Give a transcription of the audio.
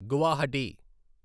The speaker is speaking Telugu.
గువాహటి